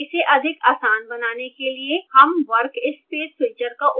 इसे अधिक आसान बनाने के लिए हम workspace switcher का उपयोग कर सकते हैं